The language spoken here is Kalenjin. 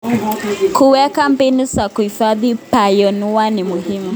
Kuweka mbinu za kuhifadhi bioanuwai ni muhimu.